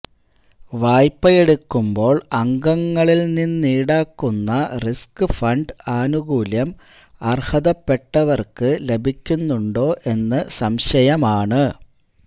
വായ്പയെടുക്കുമ്പോൾ അംഗങ്ങളിൽ നിന്നീടാക്കുന്ന റിസ്ക്ഫണ്ട് ആനുകൂല്യം അർഹതപ്പെട്ടവർക്ക് ലഭിക്കുന്നുണ്ടോ എന്ന് സംശയമാണ്